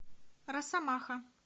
росомаха